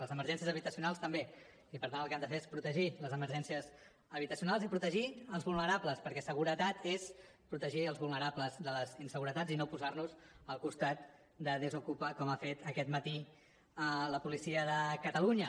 les emergències habitacionals també i per tant el que han de fer és protegir les emergències habitacionals i protegir els vulnerables perquè seguretat és protegir els vulnerables de les inseguretats i no posar nos al costat de desokupa com ha fet aquest matí la policia de catalunya